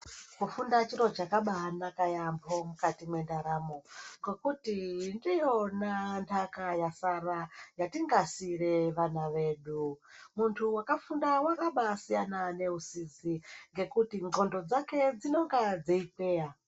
Kufunda chiro chakabanaka yaambo mukati mendaramo ngokuti ndiyona ndaka yasara yatingasiire vana vedu. Muntu wakafunda wakabaisiyana ngeusizi ngekuti ndxondo dzake dzinenge dzeidzeya.